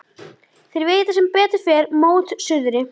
Þeir vita sem betur fer mót suðri.